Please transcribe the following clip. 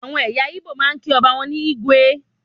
Àwọn ẹyà Igbo máa ń kí ọba ní "igwe"